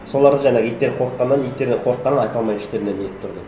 соларды жаңағы иттер де қорыққаннан айта алмай іштерінен нетіп тұрды